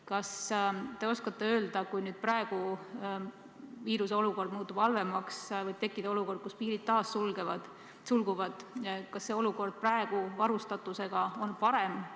Kas te oskate öelda, et kui nüüd viiruse olukord peaks halvemaks muutuma ja taas tekkima olukord, et piirid sulguvad, siis kas meie praegune varustatus on parem?